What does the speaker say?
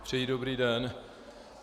Přeji dobrý den.